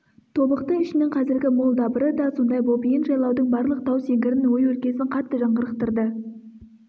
тобықты ішінің қазіргі мол дабыры да сондай боп ен жайлаудың барлық тау-сеңгірін ой-өлкесін қатты жаңғырықтырды